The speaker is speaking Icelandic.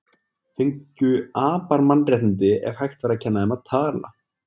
Fengju apar mannréttindi ef hægt væri að kenna þeim að tala?